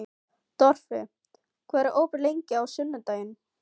Torfi, hvað er opið lengi á sunnudaginn?